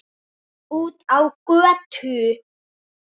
Út á götu.